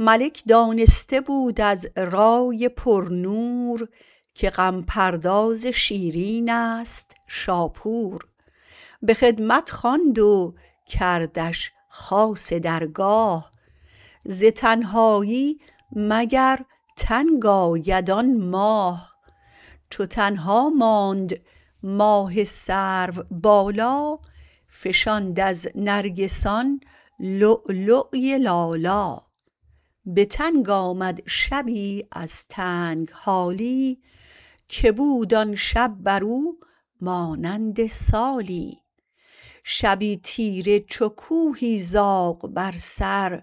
ملک دانسته بود از رای پر نور که غم پرداز شیرین است شاپور به خدمت خواند و کردش خاص درگاه ز تنهایی مگر تنگ آید آن ماه چو تنها ماند ماه سرو بالا فشاند از نرگسان لؤلؤی لالا به تنگ آمد شبی از تنگ حالی که بود آن شب بر او مانند سالی شبی تیره چو کوهی زاغ بر سر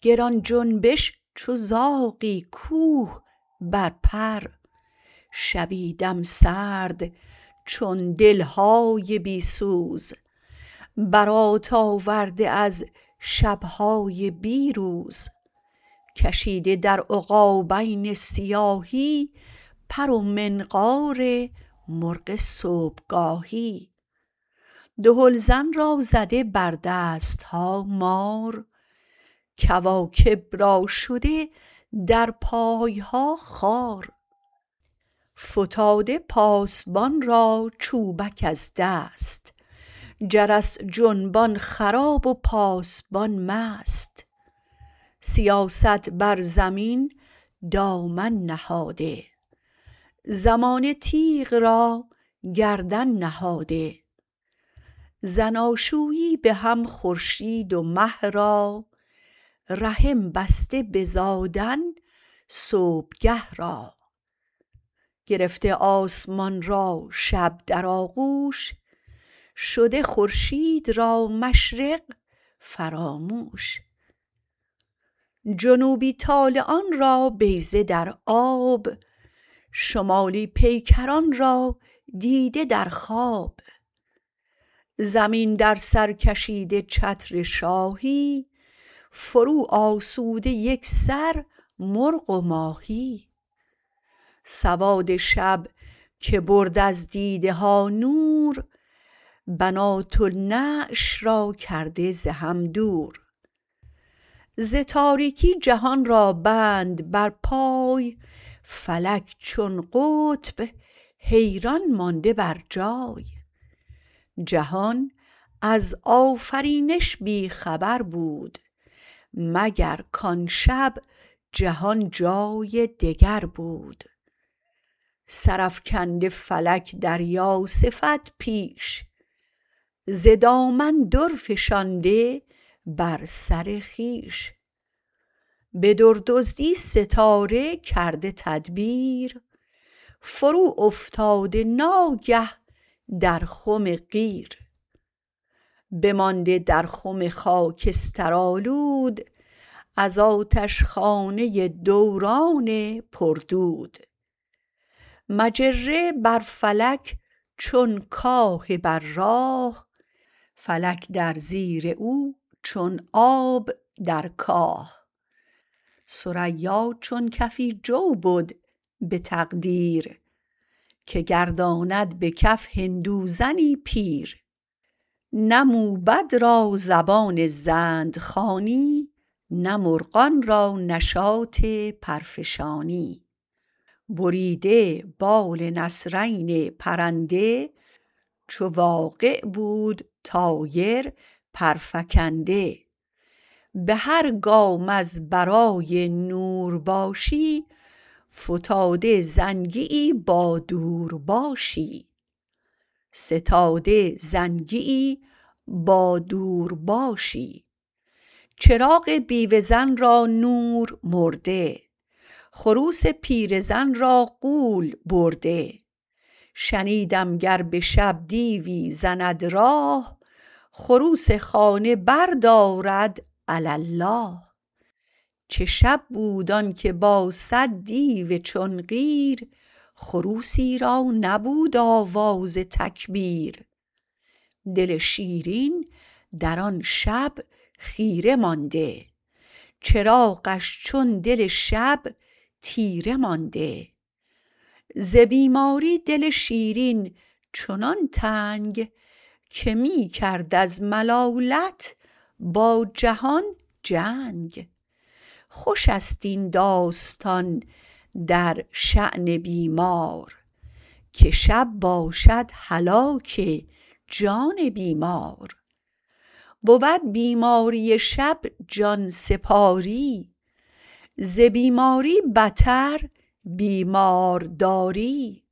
گران جنبش چو زاغی کوه بر پر شبی دم سرد چون دل های بی سوز برات آورده از شب های بی روز کشیده در عقابین سیاهی پر و منقار مرغ صبح گاهی دهل زن را زده بر دست ها مار کواکب را شده در پای ها خار فتاده پاسبان را چوبک از دست جرس جنبان خراب و پاسبان مست سیاست بر زمین دامن نهاده زمانه تیغ را گردن نهاده زناشویی به هم خورشید و مه را رحم بسته به زادن صبح گه را گرفته آسمان را شب در آغوش شده خورشید را مشرق فراموش جنوبی طالعان را بیضه در آب شمالی پیکران را دیده در خواب زمین در سر کشیده چتر شاهی فرو آسوده یک سر مرغ و ماهی سواد شب که برد از دیده ها نور بنات النعش را کرده ز هم دور ز تاریکی جهان را بند بر پای فلک چون قطب حیران مانده بر جای جهان از آفرینش بی خبر بود مگر کآن شب جهان جای دگر بود سر افکنده فلک دریا صفت پیش ز دامن در فشانده بر سر خویش به در-دزدی ستاره کرده تدبیر فرو افتاده ناگه در خم قیر بمانده در خم خاکسترآلود از آتش خانه دوران پردود مجره بر فلک چون کاه بر راه فلک در زیر او چون آب در کاه ثریا چون کفی جو بد به تقدیر که گرداند به کف هندو زنی پیر نه موبد را زبان زند خوانی نه مرغان را نشاط پرفشانی بریده بال نسرین پرنده چو واقع بود طایر پر فکنده به هر گام از برای نور باشی ستاده زنگی یی با دور باشی چراغ بیوه زن را نور مرده خروس پیره زن را غول برده شنیدم گر به شب دیوی زند راه خروس خانه بردارد علی الله چه شب بود آن که با صد دیو چون قیر خروسی را نبود آواز تکبیر دل شیرین در آن شب خیره مانده چراغش چون دل شب تیره مانده ز بیماری دل شیرین چنان تنگ که می کرد از ملالت با جهان جنگ خوش است این داستان در شان بیمار که شب باشد هلاک جان بیمار بود بیماری شب جان سپاری ز بیماری بتر بیمارداری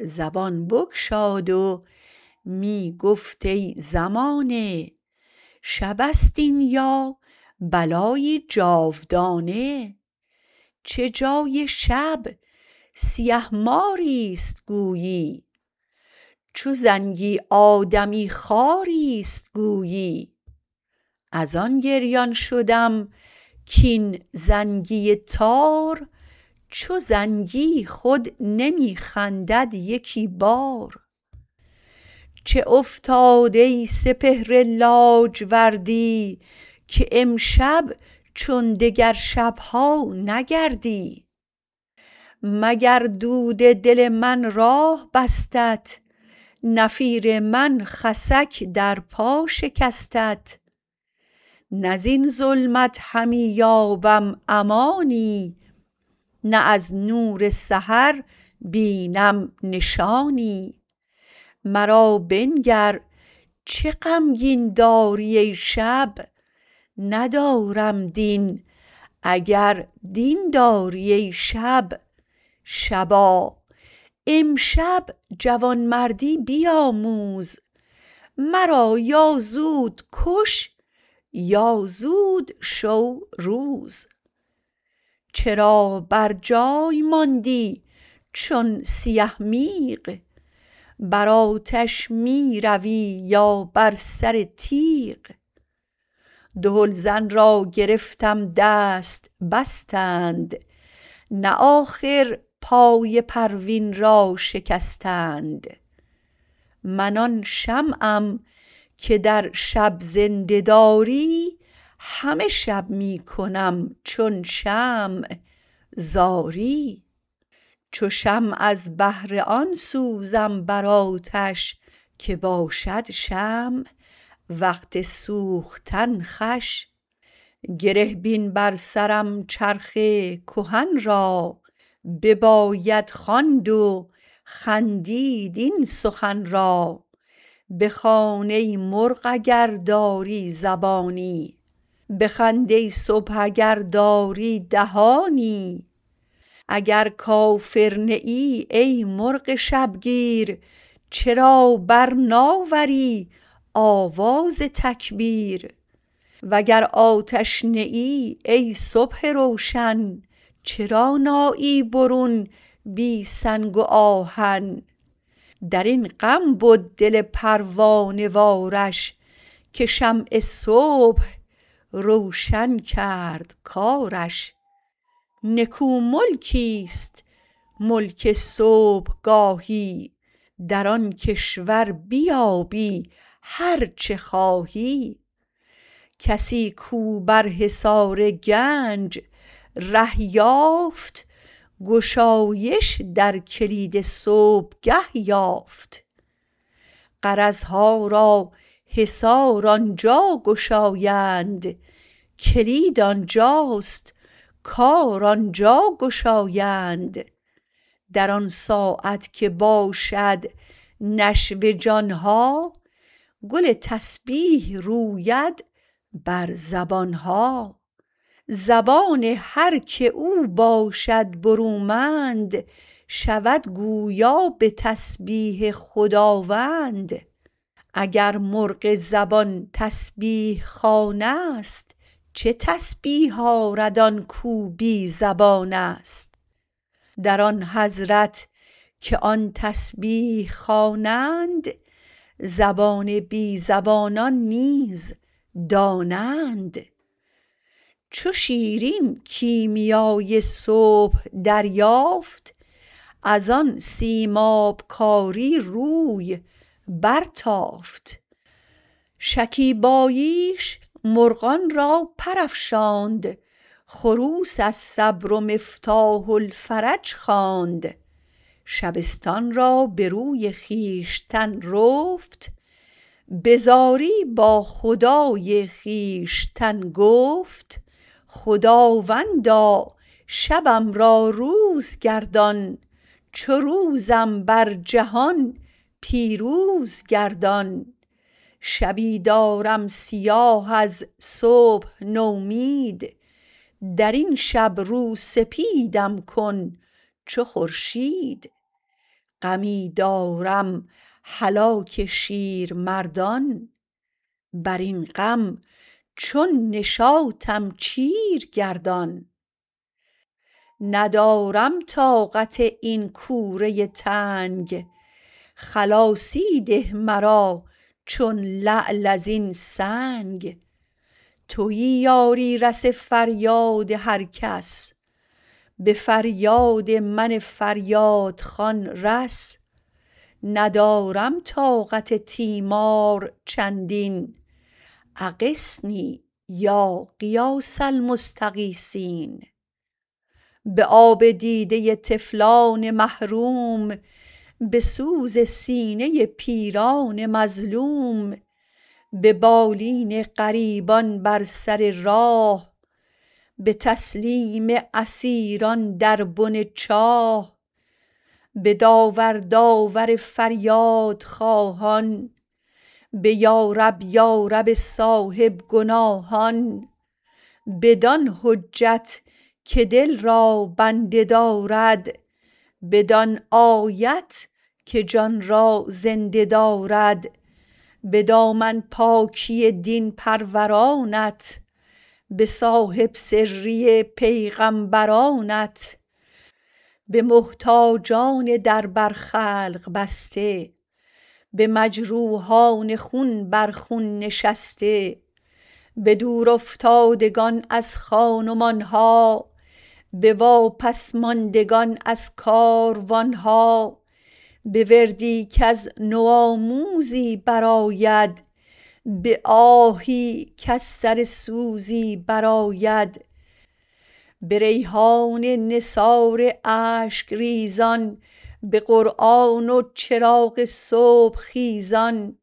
زبان بگشاد و می گفت ای زمانه شب است این یا بلایی جاودانه چه جای شب سیه ماری است گویی چو زنگی آدمی خواری است گویی از آن گریان شدم کاین زنگی تار چو زنگی خود نمی خندد یکی بار چه افتاد ای سپهر لاجوردی که امشب چون دگر شب ها نگردی مگر دود دل من راه بستت نفیر من خسک در پا شکستت نه زین ظلمت همی یابم امانی نه از نور سحر بینم نشانی مرا بنگر چه غمگین داری ای شب ندارم دین اگر دین داری ای شب شبا امشب جوان مردی بیاموز مرا یا زود کش یا زود شو روز چرا بر جای ماندی چون سیه میغ بر آتش می روی یا بر سر تیغ دهل زن را گرفتم دست بستند نه آخر پای پروین را شکستند من آن شمعم که در شب زنده داری همه شب می کنم چون شمع زاری چو شمع از بهر آن سوزم بر آتش که باشد شمع وقت سوختن خوش گره بین بر سرم چرخ کهن را بباید خواند و خندید این سخن را بخوان ای مرغ اگر داری زبانی بخند ای صبح اگر داری دهانی اگر کافر نه ای ای مرغ شبگیر چرا بر نآوری آواز تکبیر و گر آتش نه ای ای صبح روشن چرا نآیی برون بی سنگ و آهن در این غم بد دل پروانه وارش که شمع صبح روشن کرد کارش نکو ملکی است ملک صبح گاهی در آن کشور بیابی هر چه خواهی کسی کاو بر حصار گنج ره یافت گشایش در کلید صبح گه یافت غرض ها را حصار آنجا گشایند کلید آنجا ست کار آنجا گشایند در آن ساعت که باشد نشو جان ها گل تسبیح روید بر زبان ها زبان هر که او باشد برومند شود گویا به تسبیح خداوند اگر مرغ زبان تسبیح خوان است چه تسبیح آرد آن کاو بی زبان است در آن حضرت که آن تسبیح خوانند زبان بی زبانان نیز دانند چو شیرین کیمیای صبح دریافت از آن سیماب کاری روی بر تافت شکیباییش مرغان را پر افشاند خروس الصبر مفتاح الفرج خواند شبستان را به روی خویشتن رفت به زاری با خدای خویشتن گفت خداوندا شبم را روز گردان چو روزم بر جهان پیروز گردان شبی دارم سیاه از صبح نومید درین شب رو سپیدم کن چو خورشید غمی دارم هلاک شیرمردان بر این غم چون نشاطم چیر گردان ندارم طاقت این کوره تنگ خلاصی ده مرا چون لعل از این سنگ تویی یاری رس فریاد هر کس به فریاد من فریادخوان رس ندارم طاقت تیمار چندین اغثنی یا غیاث المستغیثین به آب دیده طفلان محروم به سوز سینه پیران مظلوم به بالین غریبان بر سر راه به تسلیم اسیران در بن چاه به داور داور فریادخواهان به یارب یارب صاحب گناهان بدان حجت که دل را بنده دارد بدان آیت که جان را زنده دارد به دامن پاکی دین پرورانت به صاحب سری پیغمبرانت به محتاجان در بر خلق بسته به مجروحان خون بر خون نشسته به دور افتادگان از خان و مان ها به واپس ماندگان از کاروان ها به وردی کز نوآموزی بر آید به آهی کز سر سوزی بر آید به ریحان نثار اشک ریزان به قرآن و چراغ صبح خیزان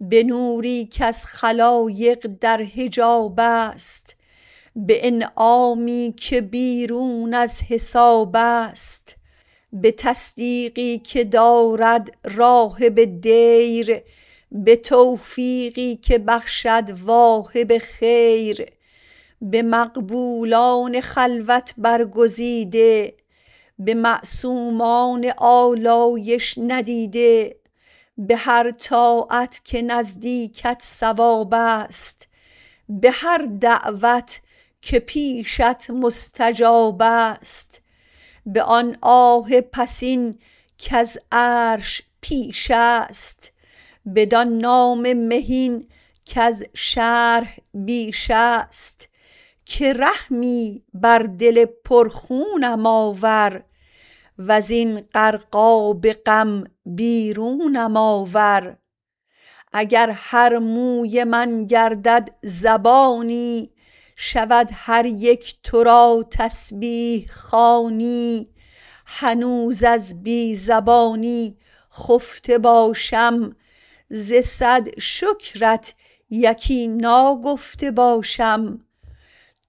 به نوری کز خلایق در حجاب است به انعامی که بیرون از حساب است به تصدیقی که دارد راهب دیر به توفیقی که بخشد واهب خیر به مقبولان خلوت برگزیده به معصومان آلایش ندیده به هر طاعت که نزدیکت صواب است به هر دعوت که پیشت مستجاب است به آن آه پسین کز عرش پیش است بدان نام مهین کز شرح بیش است که رحمی بر دل پرخونم آور وزین غرق آب غم بیرونم آور اگر هر موی من گردد زبانی شود هر یک تو را تسبیح خوانی هنوز از بی زبانی خفته باشم ز صد شکرت یکی ناگفته باشم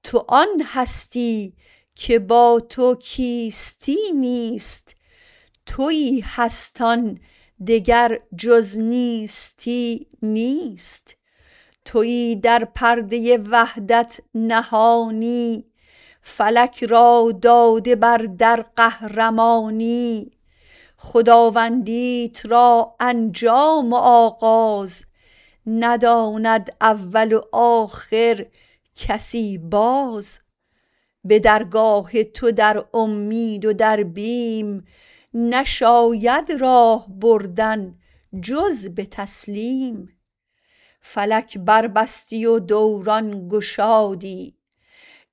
تو آن هستی که با تو کیستی نیست تویی هست آن دگر جز نیستی نیست تویی در پرده وحدت نهانی فلک را داده بر در قهرمانی خداوندیت را انجام و آغاز نداند اول و آخر کسی باز به درگاه تو در امید و در بیم نشاید راه بردن جز به تسلیم فلک بر بستی و دوران گشادی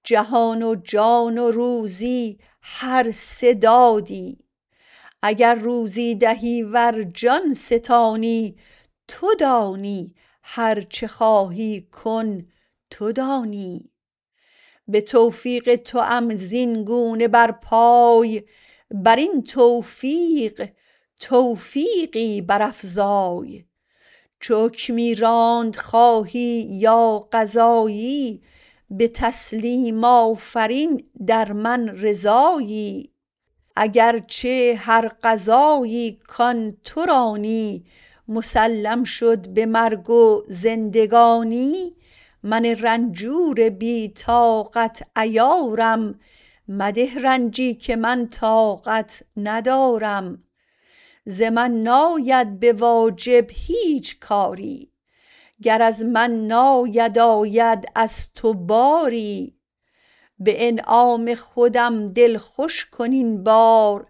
جهان و جان و روزی هر سه دادی اگر روزی دهی ور جان ستانی تو دانی هر چه خواهی کن تو دانی به توفیق توام زین گونه بر پای برین توفیق توفیقی برافزای چو حکمی راند خواهی یا قضایی به تسلیم آفرین در من رضایی اگر چه هر قضایی کآن تو رانی مسلم شد به مرگ و زندگانی من رنجور بی طاقت عیارم مده رنجی که من طاقت ندارم ز من ناید به واجب هیچ کاری گر از من ناید آید از تو باری به انعام خودم دل خوش کن این بار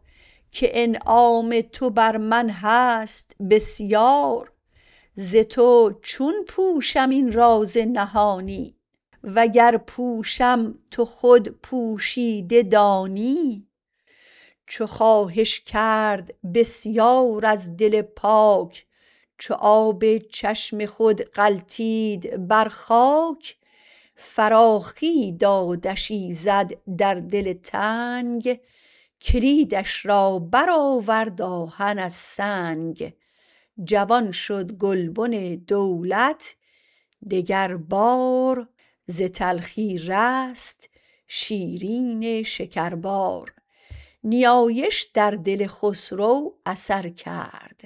که انعام تو بر من هست بسیار ز تو چون پوشم این راز نهانی و گر پوشم تو خود پوشیده دانی چو خواهش کرد بسیار از دل پاک چو آب چشم خود غلتید بر خاک فراخی دادش ایزد در دل تنگ کلیدش را بر آورد آهن از سنگ جوان شد گل بن دولت دیگر بار ز تلخی رست شیرین شکربار نیایش در دل خسرو اثر کرد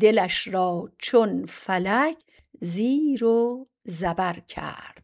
دلش را چون فلک زیر و زبر کرد